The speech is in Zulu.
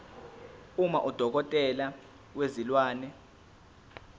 uma udokotela wezilwane